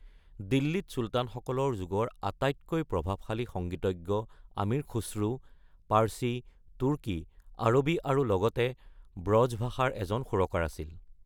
দিল্লীত চুলতানসকলৰ যুগৰ আটাইতকৈ প্ৰভাৱশালী সংগীতজ্ঞ আমিৰ খুশ্ৰু, পাৰ্চী, তুৰ্কী, আৰবী আৰু লগতে ব্ৰজ ভাষাৰ এজন সুৰকাৰ আছিল।